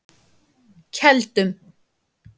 Keldum